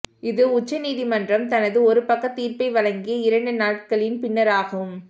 இது உச்ச நீதிமன்றம் தனது ஒரு பக்க தீர்ப்பை வழங்கிய இரண்டு நாட்களின் பின்னராகும்